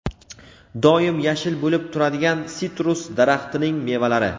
doim yashil bo‘lib turadigan sitrus daraxtining mevalari.